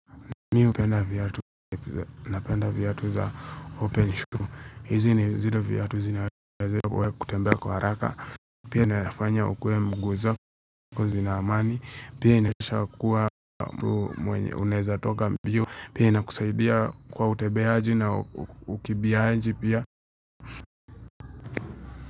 Mi hupenda viatu napenda viatu za open shoe. Hizi ni zile viatu zinaweza kwa kutembea kwa haraka. Pia nayafanya ukue mguzo kuwa zina amani. Pia inashakuwa mtu mwenye unaweza toka mbio. Pia inakusaidia kwa utembeaji na ukimbiaaji pia.